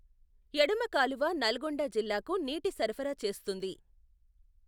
ఎడమ కాలువ నల్గొండ జిల్లాకు నీటి సరఫరా చేస్తుంది.